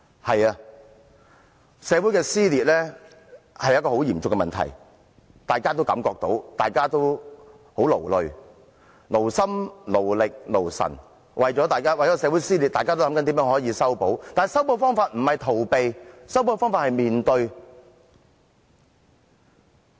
對的，社會撕裂是很嚴重的問題，大家均感覺到，大家也很勞累，為了社會的撕裂，大家勞心、勞力和勞神地設法修補，但修補方法不是逃避，修補方法應是面對。